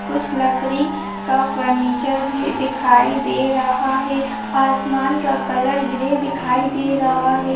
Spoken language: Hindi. कुछ लकड़ी का फर्निचर भी दिखाई दे रहा है आसमान का कलर ग्रे दिखाई दे रहा है।